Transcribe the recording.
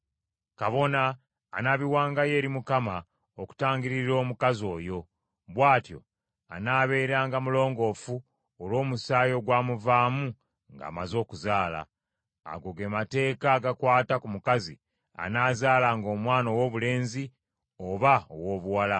Kabona anaabiwangayo eri Mukama okutangirira omukazi oyo; bw’atyo anaabeeranga mulongoofu olw’omusaayi ogwamuvaamu ng’amaze okuzaala. “ ‘Ago ge mateeka agakwata ku mukazi anaazaalanga omwana owoobulenzi oba owoobuwala.